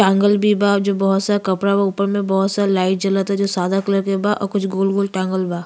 टाँगल भी बा जो बहोत सारा कपड़ा बा। ऊपर में बहोत सारा लाइट जलता जो सादा कलर के बा और कुछ गोल गोल टाँगल बा।